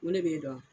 N ko ne b'e dɔn